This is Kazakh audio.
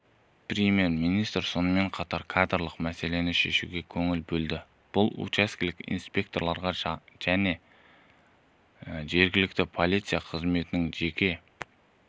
премьер-министр сонымен қатар кадрлық мәселелерді шешуге көңіл бөлді бұл учаскелік инспекторларға және жергілікті полиция қызметінің жеке